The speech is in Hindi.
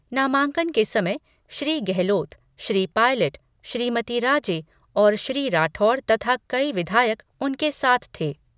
नामांकन के समय श्री गहलोत, श्री पायलट, श्रीमती राजे और श्री राठौड़ तथा कई विधायक उनके साथ थे।